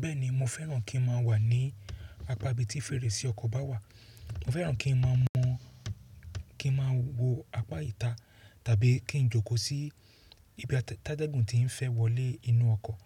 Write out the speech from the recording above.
Bẹ́ẹ̀ni mo fẹ́ràn kí ń máa wà ní apá ibi tí fèrèsé ọkọ̀ bá wà. Mo fẹ́ràn kí ń máa mọ̀, kí ń máa wo apá ìta tàbí kí ń jókòó sí ibi tí atẹ́gùn ti ń fẹ́ wọlé inú ọkọ̀.